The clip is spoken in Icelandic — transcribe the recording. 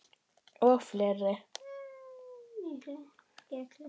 Og fleiri